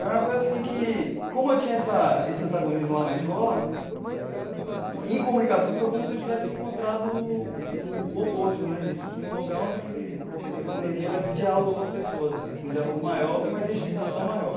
Era uma coisa assim que, como eu tinha essa esse antagonismo lá na escola, em comunicação foi como se eu tivesse encontrado o oposto né disso, e sim um lugar onde eu teria diálogo com as pessoas mesmo, um diálogo maior e uma identificação maior.